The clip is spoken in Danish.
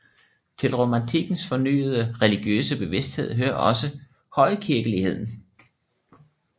Til romantikkens fornyede religiøse bevidsthed hører også højkirkeligheden